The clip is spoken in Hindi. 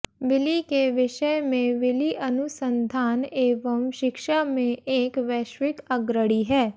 विली के विषय में विली अनुसंधान एवं शिक्षा में एक वैश्विक अग्रणी है